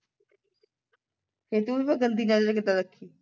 ਇਹ ਤੂੰ ਤੇ ਫੇਰ ਗੰਦੀ ਨਜਰ ਕਿੱਦਾਂ ਰੱਖੀ